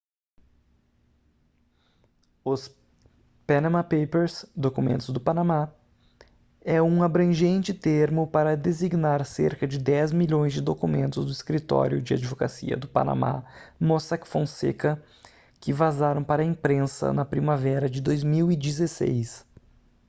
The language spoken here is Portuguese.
o panama papers documentos do panamá é um abrangente termo para designar cerca de dez milhões de documentos do escritório de advocacia do panamá mossack fonseca que vazaram para a imprensa na primavera de 2016